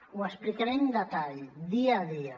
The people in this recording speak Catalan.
ho explicaré amb detall dia a dia